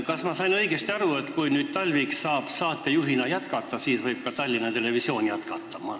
Kas ma sain õigesti aru, et kui nüüd Talvik saab saatejuhina jätkata, siis võib ka Tallinna Televisioon jätkata?